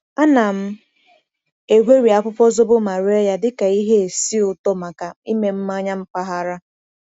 Ana m egweri akwụkwọ zobo ma ree ya dịka ihe esi ụtọ maka ime mmanya mpaghara.